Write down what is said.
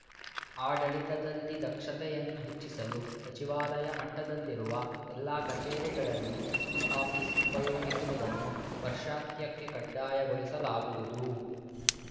ಆಡಳಿತದಲ್ಲಿ ದಕ್ಷತೆಯನ್ನು ಹೆಚ್ಚಿಸಲು ಸಚಿವಾಲಯ ಮಟ್ಟದಲ್ಲಿರುವ ಎಲ್ಲಾ ಕಚೇರಿಗಳಲ್ಲಿ ಇಆಫೀಸ್ ಉಪಯೋಗಿಸುವುದನ್ನು ವರ್ಷಾಂತ್ಯಕ್ಕೆ ಕಡ್ಡಾಯಗೊಳಿಸಲಾಗುವುದು